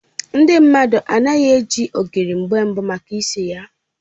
Ndị mmadụ anaghị eji ogiri mgbe mbụ maka isi ya